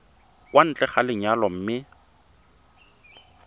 kwa ntle ga lenyalo mme